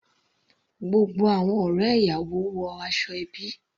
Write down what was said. Gbogbo àwọn ọ̀rẹ́ ìyàwó wọ aṣọ ẹbí.